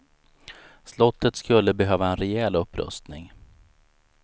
Slottet skulle behöva en rejäl upprustning.